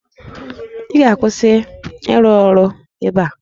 Ị ga-akwụsị ịrụ ọrụ ebe a?